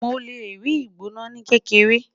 Mo le rii igbona ni kedere